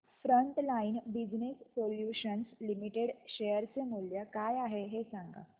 frontline business solutions limited share चे मूल्य काय आहे हे सांगा